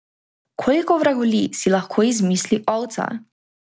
Koliko vragolij si lahko izmisli ovca?